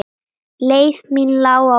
Leið mín lá á Vog.